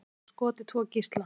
Segist hafa skotið tvo gísla